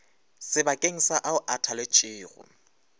sebakeng sa ao a thaletšwego